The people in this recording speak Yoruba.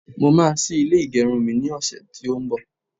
mo ma sí ilè igerun mi ni ọsẹ ti o n bo